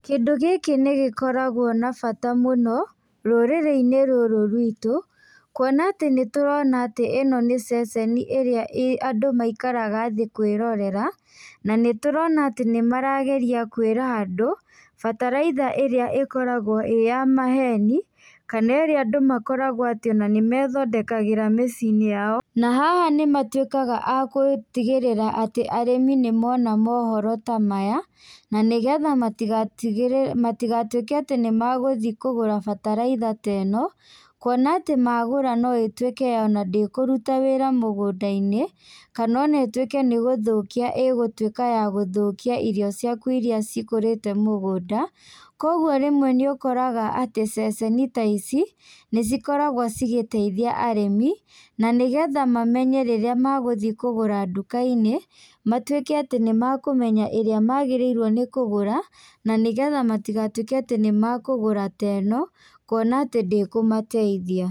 Kĩndũ gĩkĩ nĩ gĩkoragwo na bata mũno rũrĩrĩ-inĩ rũrũ rwitũ, kuona atĩ nĩtũrona atĩ ĩno nĩ ceceni ĩrĩa andu maikaraga thĩ kwĩrorera, na nĩtũrona atĩ nĩ marageria kwĩra andũ bataraitha ĩrĩa ĩkoragwo iya ya maheni, kana ĩrĩa andũ makoragwo atĩ nĩmethondekagĩra mĩciĩ-inĩ yao. Na haha nĩmatuĩkaga a gũtigĩrĩra atĩ arĩmi nĩ mona mohoro ta maya, na nĩgetha matigatigĩre matigatuĩke atĩ nĩmagũthiĩ kũgũra bataraitha ta ĩno, kuona atĩ magura no ĩtuĩke ona ndĩkũrũta wĩra mũgũnda-inĩ, kana ona ĩtuĩke nĩ gũthũkia ĩ gũtuĩka ya gũthukia irio ciaku iria cikũrĩte mũgũnda, koguo rĩmwe nĩũkoraga atĩ ceceni ta ici nĩcikoragwo cigĩteithia arĩmi, na nĩgetha mamenye rĩrĩa magũthi kũgũra ndũka-inĩ matuĩke atĩ nĩmakũmenya ĩrĩa magĩrĩirwo nĩkũgũra, na nĩgetha matigatuĩke atĩ nĩmekugura ta ĩno, kuona atĩ ndĩkũmateithia.